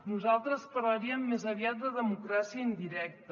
nosaltres parlaríem més aviat de democràcia indirecta